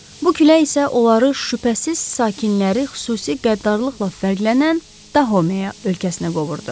Bu külək isə onları şübhəsiz sakinləri xüsusi qəddarlıqla fərqlənən Dahomeya ölkəsinə qovurdu.